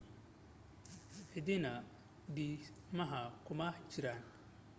cidina dhismaha kuma jirin